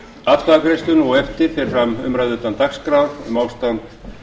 atkvæðagreiðslum á eftir fer fram umræða utan dagskrár um ástand